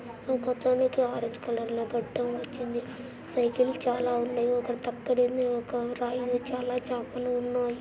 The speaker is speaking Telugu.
ఒకతనికి ఆరెంజ్ కలర్ గడ్డం వచ్చింది సైకిల్ చాల ఉంటాయి ఒక తక్కెడ ఉంది ఒక రాయి మీద చాలా చేపలు ఉన్నాయి.